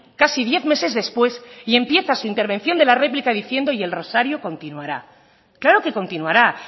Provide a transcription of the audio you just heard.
casi diez meses después y empieza su intervención de la réplica diciendo y el rosario continuará claro que continuará